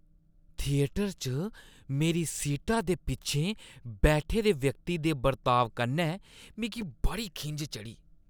Theatre च मेरी सीटा दे पिच्छें बैठे दे व्यक्ति दे बर्ताव कन्नै मिगी बड़ी खिंझ चढ़ी ।